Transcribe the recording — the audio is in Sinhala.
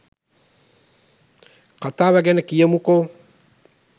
කතාව ගැන කියමුකෝ